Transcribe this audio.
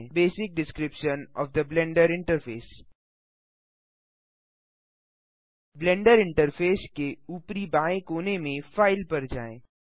basic description of the blender interface blender interface के ऊपरी बाएँ कोने में फाइल पर जाएँ